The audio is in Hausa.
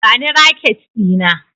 Bani raket Dina!